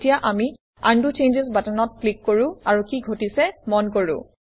এতিয়া আমি undo changes বাটনত ক্লিক কৰো আৰু কি ঘটিছে মন কৰো